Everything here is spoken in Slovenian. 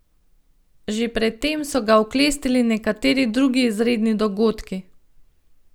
Že pred tem so ga oklestili nekateri drugi izredni dogodki.